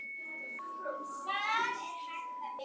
Hvar er hægt að byrja?